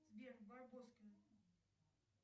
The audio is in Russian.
сбер барбоскины